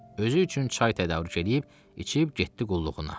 Özü üçün çay tədarük eləyib, içib getdi qulluğuna.